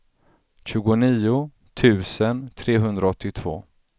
tjugonio tusen trehundraåttiotvå